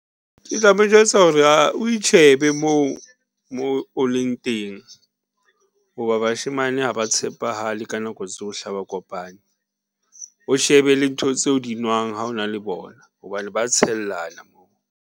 Ke tla mo jwetsa hore o itjhebe moo mo o leng teng. Hoba bashemane ha ba tshepahale ka nako tsohle ha ba kopane, o shebe le ntho tse o di nwang ha o na le bona hobane ba tshellana moo.